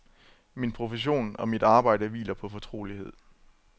Min profession og mit arbejde hviler på fortrolighed.